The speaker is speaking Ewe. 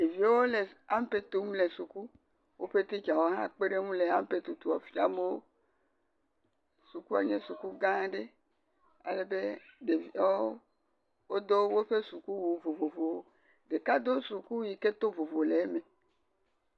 Ɖeviwo le ampe tum le afima. Woƒe teacher wò hã kpe ɖewo ŋu le ampe tutua fiam wò. Sukua nye suku gã aɖe. Alebe ɖeviwo do woƒe sukuwu vovovowo, ɖeka ɖo sukuwu sike tɔ vovo le eme.